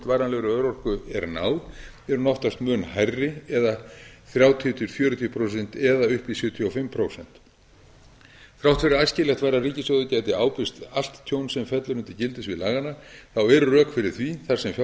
varanlegri örorku er náð er hún oftast mun hærri eða þrjátíu til fjörutíu prósent eða upp í sjötíu og fimm prósent þrátt fyrir að æskilegt væri að ríkissjóður gæti ábyrgst allt tjón sem fellur undir gildissvið laganna eru rök fyrir því þar sem fjárhagur